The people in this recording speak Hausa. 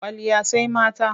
Kwalliya sai mata.